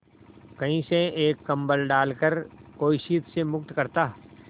कहीं से एक कंबल डालकर कोई शीत से मुक्त करता